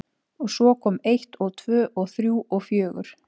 Og svo kom eitt og tvö og þrjú og fjögur.